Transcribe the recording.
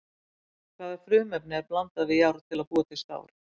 Hvaða frumefni er blandað við járn til að búa til stál?